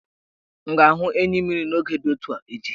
M ga-ahụ enyimmiri n' moge di etu a echi?